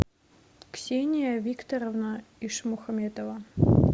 ксения викторовна ишмухаметова